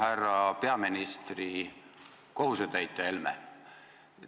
Härra peaministri kohusetäitja Helme!